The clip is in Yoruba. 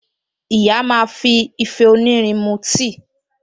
Ìyá máa fi ìfẹ́ onírin mú tíì